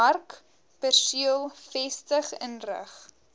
markperseel vestig inrig